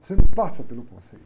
Você não passa pelo conceito.